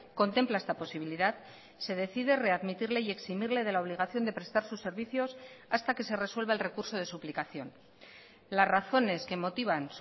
contempla esta posibilidad se decide readmitirle y eximirle de la obligación de prestar sus servicios hasta que se resuelva el recurso de suplicación las razones que motivan